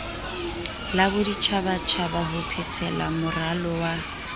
la boditjhabatjhaba ho phethelamoralo wa